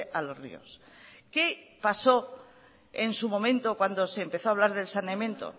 a los ríos qué pasó en su momento cuando se empezó a hablar del saneamiento